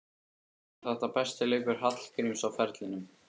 Var þetta besti leikur Hallgríms á ferlinum?